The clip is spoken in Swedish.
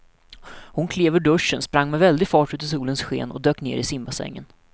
Hon klev ur duschen, sprang med väldig fart ut i solens sken och dök ner i simbassängen.